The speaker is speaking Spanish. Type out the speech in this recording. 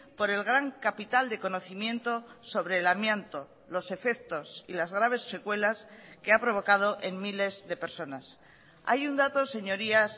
por el gran capital de conocimiento sobre el amianto los efectos y las graves secuelas que ha provocado en miles de personas hay un dato señorías